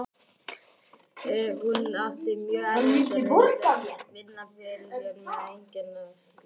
Hún átti mjög erfitt og reyndi að vinna fyrir sér með einkakennslu.